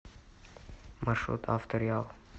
маршрут авто реал